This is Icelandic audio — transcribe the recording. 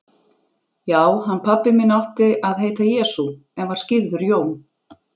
Já, hann pabbi minn átti að heita Jesú, en var skírður Jón.